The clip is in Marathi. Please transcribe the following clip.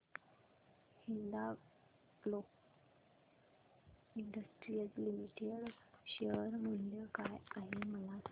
हिंदाल्को इंडस्ट्रीज लिमिटेड शेअर मूल्य काय आहे मला सांगा